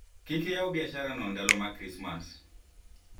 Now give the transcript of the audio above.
usifungue biashara hiyo wakati wa krismasi